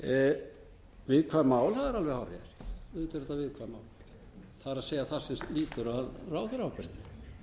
auðvitað eru þetta viðkvæm mál það er það sem lýtur að ráðherraábyrgðinni